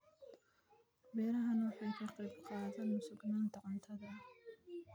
Beerahani waxa ay ka qayb qaataan sugnaanta cuntada.